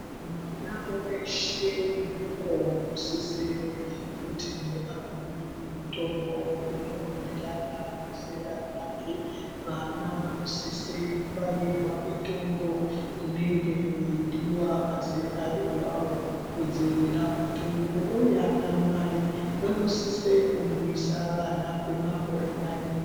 Mwana veshe mudoko anosisire kuti aone mutombo inoenderana nezera rake. Vana vanosise kubairwa mitombo inenge yeidiva mazera avavo kudzivirira mutungu, uye ana mai vanosise kumwisa vana kwemakore mairi.